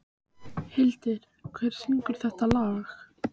Hildir, hver syngur þetta lag?